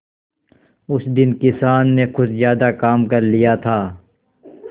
उस दिन किसान ने कुछ ज्यादा काम कर लिया था